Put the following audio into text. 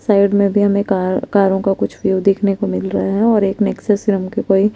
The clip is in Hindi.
साइड मे भी हमे कार कारों का कुछ व्यू देखने को मिल रहा है और एक नेक्ससीरम का कोई --